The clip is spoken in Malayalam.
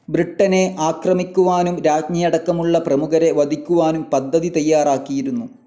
ബ്രിട്ടനെ ആക്രമിക്കുവാനും രാജ്ഞിയടക്കമുള്ള പ്രമുഖരെ വധിക്കുവാനും പദ്ധതി തയ്യാറാക്കിയിരുന്നു.